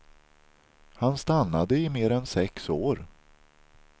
Han stannade i mer än sex år.